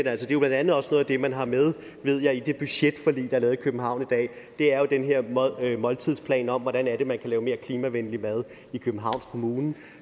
er jo blandt andet også noget af det man har med ved jeg i det budgetforlig der er lavet i københavn i dag det er jo den her måltidsplan om hvordan man kan lave mere klimavenlig mad i københavns kommune